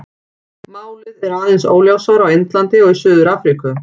Málið er aðeins óljósara á Indlandi og í Suður-Afríku.